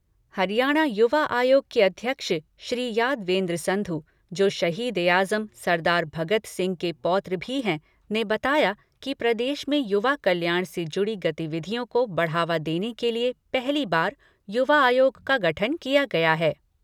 हरियाणा युवा आयोग के अध्यक्ष, श्री यादवेन्द्र संधु जो शहीद ए आजम सरदार भगत सिंह के पौत्र भी है, ने बताया कि प्रदेश में युवा कल्याण से जुड़ी गतिविधियों को बढ़ावा देने के लिए पहली बार युवा आयोग का गठन किया गया है।